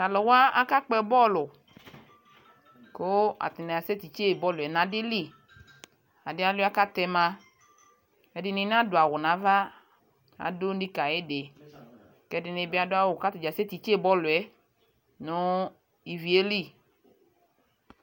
Talu wa aka kpɔ bɔlu ko atane asɛ titse bɔluɛ na ade liAde alua katɛ ma Ɛde ne nado awu nava kado nika ayede kɛ ɛde ne be ado awu kasɛ titse bɔluɛ no ivie li